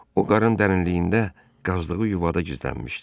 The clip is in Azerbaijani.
O qarın dərinliyində qazdığı yuvada gizlənmişdi.